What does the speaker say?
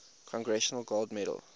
congressional gold medal